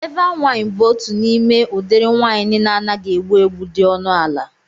Eva wain bụ otu n'ime udiri wain na-anaghị egbu egbu dị ọnụ ala